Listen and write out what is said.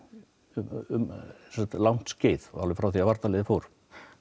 um langt skeið alveg frá því að varnarliðið fór